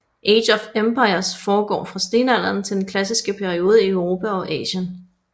Age of Empires foregår fra stenalderen til den klassiske periode i Europa og Asien